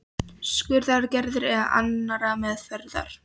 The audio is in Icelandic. skurðaðgerðar eða annarrar meðferðar?